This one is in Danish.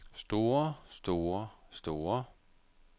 store store store